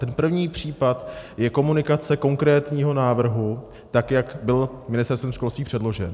Ten první případ je komunikace konkrétního návrhu, tak jak byl Ministerstvem školství předložen.